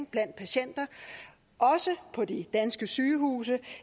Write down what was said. blandt patienter også på de danske sygehuse